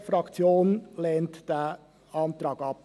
Die BDP lehnt den Antrag ab.